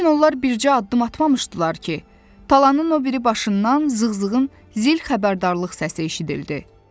Lakin onlar bircə addım atmamışdılar ki, talanın o biri başından zığ-zığının zil xəbərdarlıq səsi eşidildi.